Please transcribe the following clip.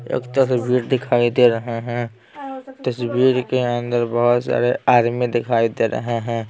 एक तस्वीर दिखाई दे रहे हैं तस्वीर के अंदर बहुत सारे आदमी दिखाई दे रहे हैं।